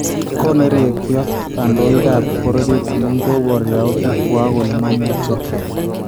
Konereekyo kandoikaab bororyeet amun kobor yauutikwak kole mamuuche